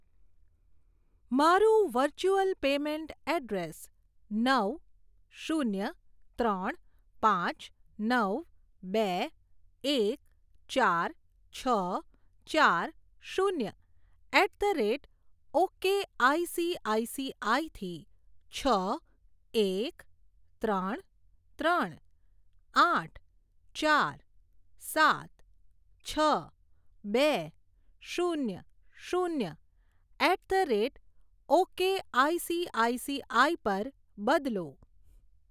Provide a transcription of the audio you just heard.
મારું virtual payment address નવ શૂન્ય ત્રણ પાંચ નવ બે એક ચાર છ ચાર શૂન્ય એટ ધ રેટ ઓકેઆઇસીઆઇસીઆઇ થી છ એક ત્રણ ત્રણ આઠ ચાર સાત છ બે શૂન્ય શૂન્ય એટ ધ રેટ ઓકેઆઇસીઆઇસીઆઇ પર બદલો.